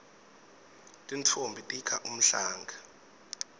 tintfombi tikha umhlanga